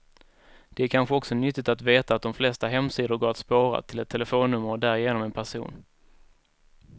Det är kanske också nyttigt att veta att de flesta hemsidor går att spåra, till ett telefonnummer och därigenom en person.